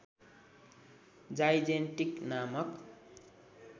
जाइजेन्टेक्टिस नामक